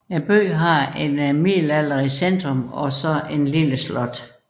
Byen har et middelalderlig centrum og et lille slot